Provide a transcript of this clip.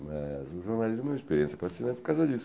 Mas o jornalismo é uma experiência fascinante por causa disso.